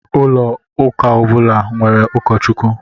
Ụka ọbula nwèrè ukọchukwu.